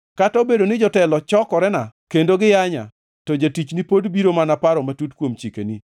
Kata obedo ni jotelo chokorena kendo giyanya, to jatichni pod biro mana paro matut kuom chikeni.